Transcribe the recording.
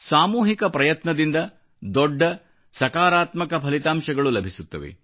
ಸಾಮೂಹಿಕ ಪ್ರಯತ್ನದಿಂದ ದೊಡ್ಡ ಸಕಾರಾತ್ಮಕ ಫಲಿತಾಂಶಗಳು ಲಭಿಸುತ್ತವೆ